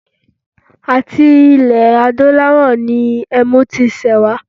À̀ti ilẹ̀ adúláwọ̀ ní ẹmu ti ṣẹ̀ wá.